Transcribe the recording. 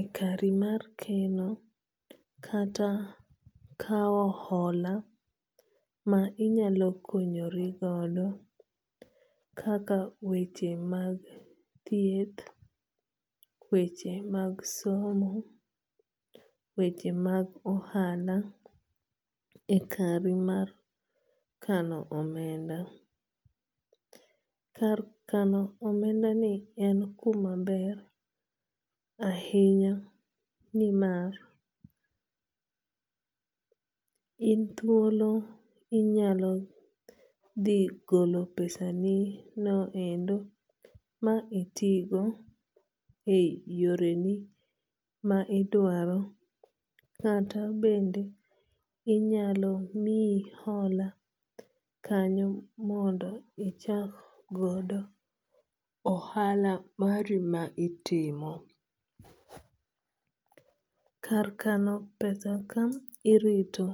ekari mar keno kata kaw hola ma inyalo konyorigodo kaka weche mag thieth, weche mag somo, weche mag ohala e kari mar kano omenda. Kar kano omenda ni en kuma ber ahinya ni mar in thuolo inyalo dhi golo pesa ni no endo ma iti go e yore ni ma idwaro kata bende inyalo miyi hola kanyo mondo ichak godo ohala mari ma itimo. Kar kano pesa kanyo irito